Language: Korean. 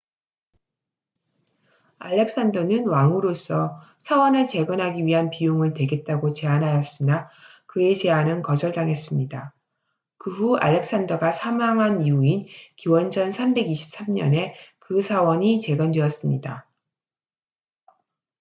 알렉산더는 왕으로서 사원을 재건하기 위한 비용을 대겠다고 제안하였으나 그의 제안은 거절당했습니다 그 후 알렉산더가 사망한 이후인 기원전 323년에 그 사원이 재건되었습니다